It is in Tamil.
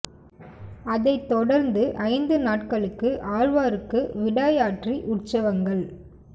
அதைத் தொடர்ந்து ஐந்து நாட்களுக்கு ஆழ்வாருக்கு விடாய் ஆற்றி உற்சவங்கள்